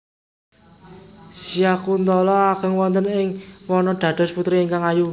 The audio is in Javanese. Syakuntala ageng wonten ing wana dados putri ingkang ayu